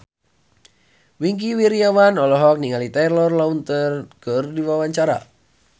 Wingky Wiryawan olohok ningali Taylor Lautner keur diwawancara